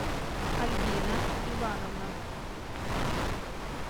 альбина ивановна